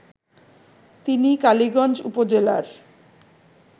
তিনি কালীগঞ্জ উপজেলার